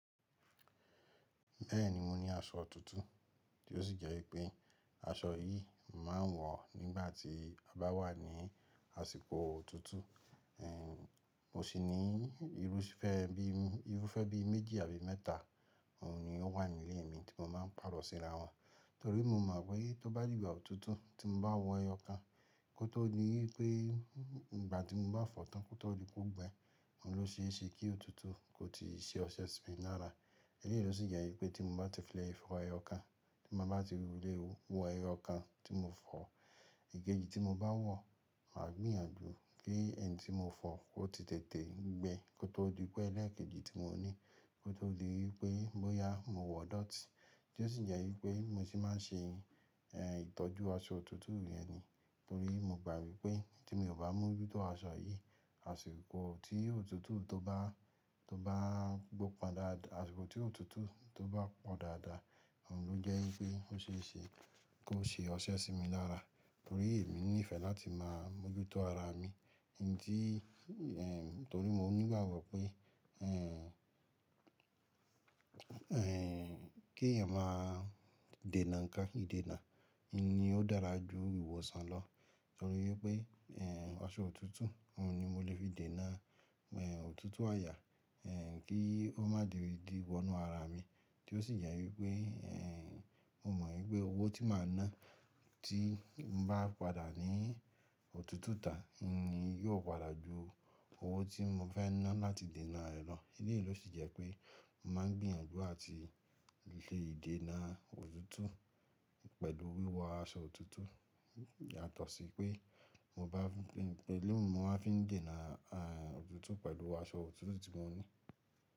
Bẹ́ẹ̀ni, mo ní aṣọ otuntun tí ó sì jẹ́ wípé aṣọ yìí màá ń wọ̀ nígbà tí a bá wà ní àsìkò òtútù. Ehn, mo sì ní irúfẹ́ bí i, irúfẹ́ bí i méjì àbí mẹ́ta. Òun ni ó wà nílé mi tí mo máa ń pàrọ̀ síra wọn. Torí mo mọ̀ pé tó bá dì ìgbà òtútù tí mo bá wọ ẹyọ kan, kó tó dí wipé nígbà tí mo bá fọ̀ tán kó tó di pe ọ̀ gbẹ, òun ló ṣe é ṣe kí òtútù kó tíì ṣe ọṣẹ sí mi lára. Lẹ́yìn ló sì jẹ́ wípé tí mo bá ti fẹ́ le fọ ẹyọ kan, tí mo bá ti wí wọlé o, wọ ẹyọ kan tí mo fọ̀, ìkejì tí mo bá wọ̀, màá gbìnyànjú kí ẹni tí mo fọ̀ ó ti tètè gbẹ kó tó di pẹ́ ẹ́lẹ̀kejì tí mo ní, kó tó di wípé bóyá mo wọ dọ́ti, tí ó sì jẹ́ wípé mo sì máa ń ṣe, eh, itọ́jú aṣọ òtútù yen ni. Torí mo gbà wi pé tí mi ò bá mójútó aṣọ yìí, àsìkò tí òtútù tó bá, tó bá gbó padà, àsìkò tí òtútù tó bá pọ̀ dáadáa, òun ló jẹ́ wípé ó ṣe é ṣe kó ṣe ọṣẹ sí mi lára. Torí èmi ní ìfẹ́ láti máa mójútó ara mi, ǹtí, ehn, torí mo nígbàgbo pé, ehn, ehn, kí èèyàn máa dènà nǹkan, ìdènà ni ó dára ju ìwòsàn lọ. Torí wípé, ehn, aṣọ òtútù òun ni mo lè fi dènà, ehn, òtútù àyà, ehn, kí ó má di ìdí wọnú ara mi, tí ó sì jẹ́ wípé, ehn, mo mọ̀ wípé owó tí màá ná tí n bá padà ní òtútù tà ni yóò padà ju owó tí mo fẹ́ ná láti dènà ẹ loo. Ẹ́leyìn ló sì jẹ́ pé màá gbìnyànjú àti lè se idènà òtútù pẹ̀lú wíwọ aṣọ òtútù. Yàtọ̀ sí pé mo bá pẹ̀lú mo máa fi ń dènà, ah, òtútù pẹ̀lú aṣọ òtútù tí mo ní.